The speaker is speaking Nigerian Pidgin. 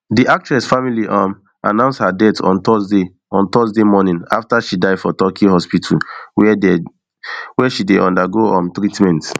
di actress family um announce her death on thursday on thursday morning after she die for turkey hospital wia she dey undergo um treatment